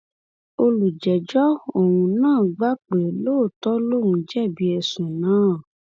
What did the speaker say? olùjẹjọ ọhún náà gbà pé lóòótọ lòun jẹbi ẹsùn náà